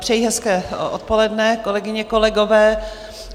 Přeji hezké odpoledne, kolegyně, kolegové.